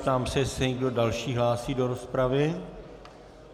Ptám se, jestli se někdo další hlásí do rozpravy.